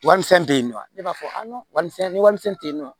Warimisɛn tɛ yen nɔ ne b'a fɔ warimisɛn ni warimisɛn tɛ yen nɔ